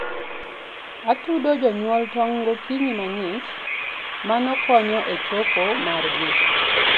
atudo janyuolo tong gokinyi mangich, mano konyo e choko margi